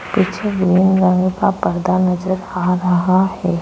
पीछे हुए रंग का पर्दा नजर आ रहा है।